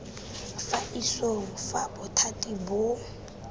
fa isong fa bothati boo